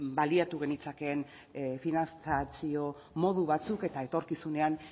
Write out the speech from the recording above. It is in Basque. baliatu genitzakeen finantzazio modu batzuk eta etorkizunean